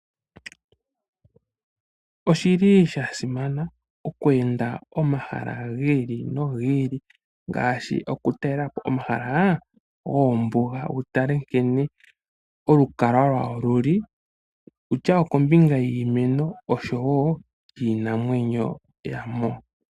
Oshili sha simana oku enda omahala gi ili nogi ili ngaashi oku talela po omahala goombuga. Wu tale nkene, olukalwa lwago luli, kutya okombinga yiimeno osho woo kiinamwenyo ya mo .